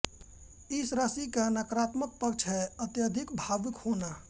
इस राशि का नाकारात्मक पक्ष है अत्यधिक भावुक होना